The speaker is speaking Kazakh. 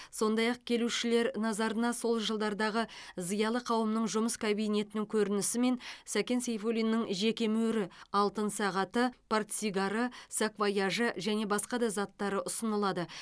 сондай ақ келушілер назарына сол жылдардағы зиялы қауымның жұмыс кабинетінің көрінісі мен сәкен сейфуллиннің жеке мөрі алтын сағаты портсигары саквояжы және басқа да заттары ұсынылады